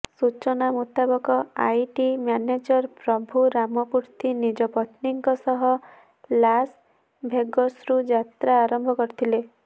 ସୂଚନା ମୁତାବକ IT manager Prabhu Ramamurthy ନିଜ ପତ୍ନୀଙ୍କ ସହ ଲାସ୍ ଭେଗସ୍ରୁ ଯାତ୍ରା ଆରମ୍ଭ କରିଥିଲେ